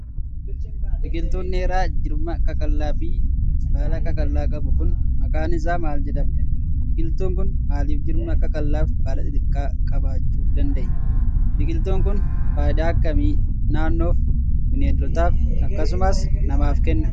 Biqiltuun dheeraa jirma qaqallaa fi baala qaqallaa qabu kun maqaan isaa maal jedhama? Biqiltuun kun maalif jirma qaqallaa fi baala xixiqqoo qabaachuu danda'ee? Biqiltuun kun faayidaa akkamii naannoof, bineeldotaaf akkasumas namaaf kenna?